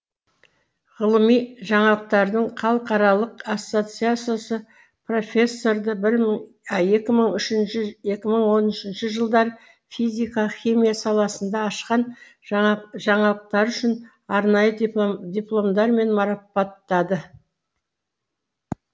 ғылыми жаңалықтардың халықаралық ассоциациясы профессорды екі мың үшінші екі мың он үшінші жылдары физика химия саласында ашқан жаңалықтары үшін арнайы дипломдармен марапаттады